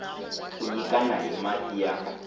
ku nyikana hi mati ya